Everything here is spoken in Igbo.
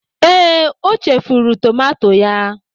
Ee, o chefuru tomato ya.